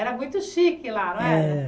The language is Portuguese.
Era muito chique lá, não era? É